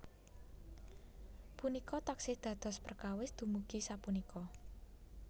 Punika taksih dados perkawis dumugi sapunika